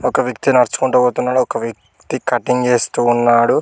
ఒక వ్యక్తి నడుచుకుంటూ పోతునేడు ఒక వ్యక్తి కటింగ్ చేస్తున్నాడు.